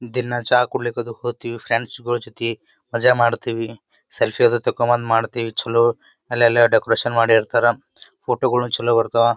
ದಿನ ಚಾ ಕೂಡ್ಲಿಕ್ ಅದು ಹೊಗ್ತಿವ ಫ್ರೆಂಡ್ಸಗೋಳ ಜೊತೆ ಮಜಾ ಮಾಡ್ತಿವಿ ಸೆಲ್ಫಿಯೇ ಅದು ತೆಕೊಮ್ಮದ ಮಾಡ್ತಿವಿ ಚಲೋ ಅಲ್ಲೆಲ್ಲ ಡೆಕೋರೇಷನ್ ಮಾಡಿರ್ತರ ಫೋಟೋಗಳು ಚಲೋ ಬರ್ತಾವ--